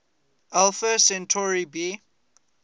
alpha centauri b